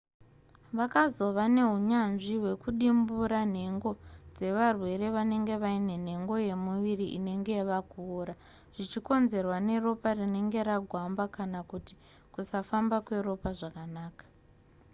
vakazova neunyanzvi hwekudimbura nhengo dzevarwere vanenge vaine nhengo yemuviri inenge yava kuora zvichikonzerwa neropa rinenge ragwamba kana kuti kusafamba kweropa zvakanaka